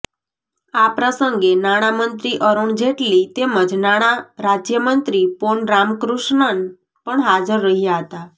આ પ્રસંગે નાણામંત્રી અરુણ જેટલી તેમજ નાણા રાજ્યમંત્રી પોન રામકૃષ્ણન પણ હાજર રહ્યા હતા